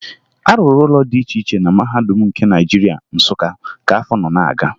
A rụrụ ụlọ dị iche na Mahadum nke Naịjirịa, Nsụka, ka afọ nọ na-aga